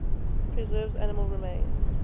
preserves animal remains